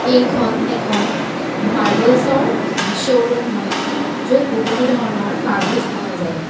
এইখন এখন মাৰ্বলচৰ উম শ্ব'ৰুম হয় য'ত বহুতো ধৰণৰ মাৰ্বলচ পোৱা যায়।